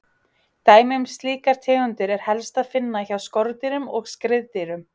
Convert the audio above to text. Dæmi um slíkar tegundir er helst að finna hjá skordýrum og skriðdýrum.